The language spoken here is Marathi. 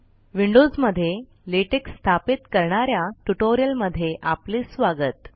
विंडोजमध्ये लेटेक स्थापित करणाऱ्या ट्यूटोरियल मध्ये आपले स्वागत